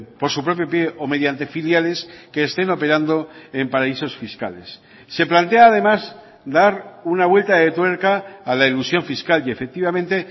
por su propio pie o mediante filiales que estén operando en paraísos fiscales se plantea además dar una vuelta de tuerca a la elusión fiscal y efectivamente